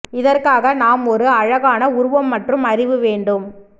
இதற்காக நாம் ஒரு அழகான உருவம் மற்றும் அறிவு வேண்டும்